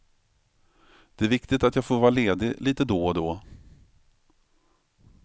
Det är viktigt att jag får vara ledig lite då och då.